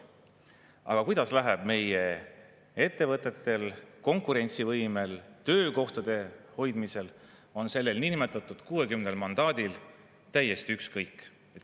Aga sellest, kuidas läheb meie ettevõtetel, konkurentsivõimel, töökohtade hoidmisel, on sellel niinimetatud 60 mandaadil täiesti ükskõik.